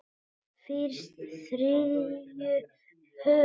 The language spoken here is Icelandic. Fyrst þrjú högg.